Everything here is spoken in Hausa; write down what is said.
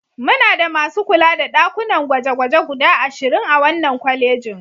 Muna da masu kula da ɗakunan gwaje-gwaje guda ashirin a wannan kwalejin.